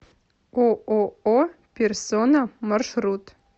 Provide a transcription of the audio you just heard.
ооо персона маршрут